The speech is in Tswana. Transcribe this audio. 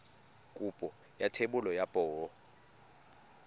kopo ya thebolo ya poo